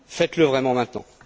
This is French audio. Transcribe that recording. Faites le vraiment maintenant.